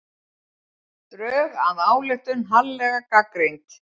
Drög að ályktun harðlega gagnrýnd